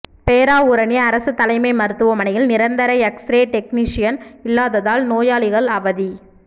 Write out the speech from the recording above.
பேராவூரணி அரசு தலைமை மருத்துவமனையில் நிரந்தர எக்ஸ்ரே டெக்னீசியன் இல்லாததால் நோயாளிகள் அவதி